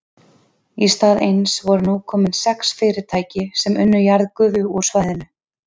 Í stað eins voru nú komin sex fyrirtæki sem unnu jarðgufu úr svæðinu.